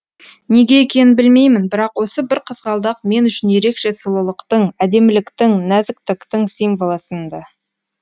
неге екенін білмеймін бірақ осы бір қызғалдақ мен үшін ерекше сұлулықтың әдеміліктің нәзіктіктің символы сынды